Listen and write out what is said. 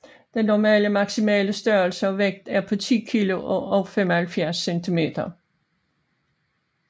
Den normale maximale størrelse og vægt er på 10 kg og 75 cm